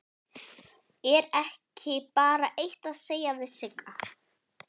Er ekki bara eitt að segja við Sigga?